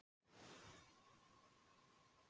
Natalía, viltu hoppa með mér?